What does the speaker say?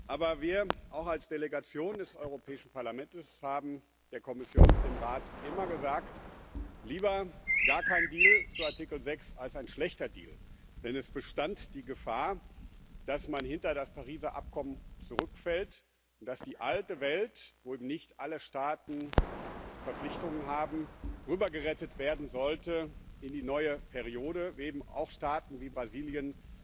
Aber wir auch als Delegation des Europäischen Parlaments haben der Kommission und dem Rat immer gesagt lieber gar kein Deal zu Artikel 6 als ein schlechter Deal. Denn es bestand die Gefahr, dass man hinter das Pariser Abkommen zurückfällt, dass die alte Welt, wo nicht alle Staaten Verpflichtungen haben, rübergerettet werden sollte in die neue Periode, wo eben auch Staaten wie Brasilien